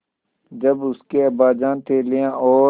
जब उसके अब्बाजान थैलियाँ और